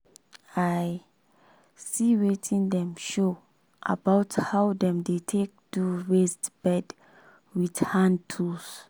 i see wetin dem show about how dem dey take do raised bed wit hand tools.